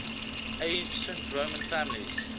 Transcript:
ancient roman families